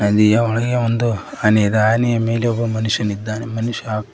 ನದಿಯ ಒಳಗೆ ಒಂದು ಆನೆಯಿದೆ ಆನೆಯ ಮೇಲೆ ಒಬ್ಬ ಮನುಷ್ಯನಿದ್ದಾನೆ ಮನುಷ್ಯ ಹಾಗು--